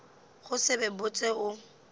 go se be botse o